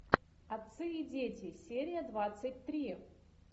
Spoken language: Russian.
отцы и дети серия двадцать три